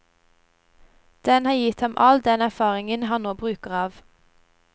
Den har gitt ham all den erfaringen han nå bruker av.